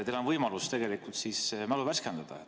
Teil on võimalus mälu värskendada.